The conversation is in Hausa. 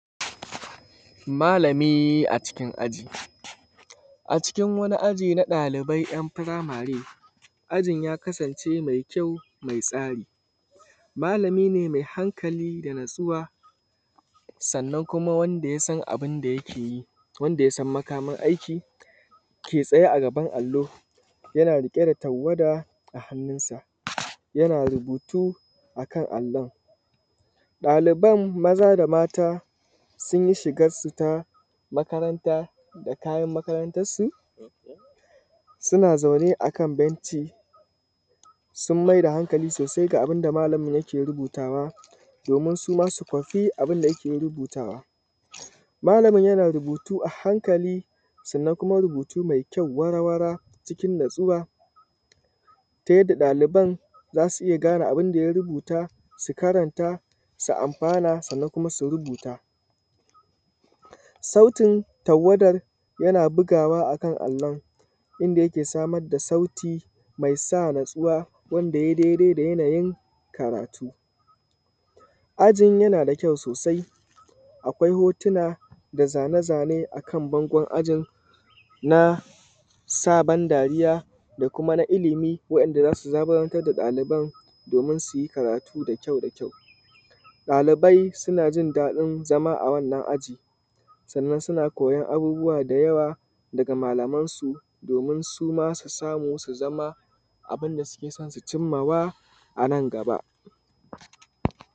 Malami a cikin aji, a cikin wani aji na ɗalibai ‘yan’ firamary ajin ya kasance mai kyau mai tsari malami ne mai hankali da natsuwa sannan kuma wanda yasan abunda yakeyi, wanda yasan makaman aiki ke tsaye a gaban allo yana riƙe da tawwada a hannunsa yana rubutu akan alon. ɗaliban maza da mata sunyi shigansu ta makaranta, da kayan makarantansu, suna zaune akan benci sun maida hankali sosai ga abunda malamin yake rubutawa domin suma su kwafi abunda yake rubutawa, malamin yana rubutu a hankali sannan kuma rubutu mai kyau wara wara cikin natsuwa ta yadda ɗaliban zasu iya gane abunda ya rubuta, su karanta, su amfana sanan kuma su rubuta. Sautin tawadar yana bugawa akan allon, inda yake samarda sauti mai sa natsuwa wanda yai daidai da yanayin karatu. Ajin yana da kyau sosai akwai hotuna da zane zane akan bangon ajin na sa ban dariya da kuma illimi wadanda zasu zaburantar da ɗaliban domin suyi karatu da kyau da kyau. ɗalibai sunajin daɗin zama a wannan aji sannan suna koyon abubuwa da yawa daga malaman su domin suma su samu su zama abunda suke son su cimma wa anan gaba.